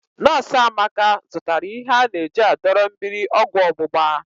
Nọs Amaka zụtara ihe ana-eji adọrọ mmiri ọgwọ ọgbụgba.